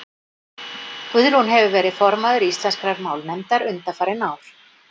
Guðrún hefur verið formaður Íslenskrar málnefndar undanfarin ár.